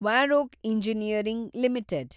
Varroc engineering limited